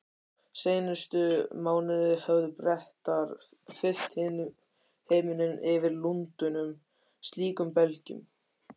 Seinustu mánuði höfðu Bretar fyllt himininn yfir Lundúnum slíkum belgjum.